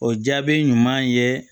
O jaabi ɲuman ye